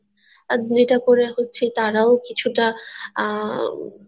আর এইটা করে তারাও কিছু টা আহ